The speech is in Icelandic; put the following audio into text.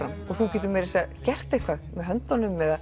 og þú getur meir að segja gert eitthvað með höndunum og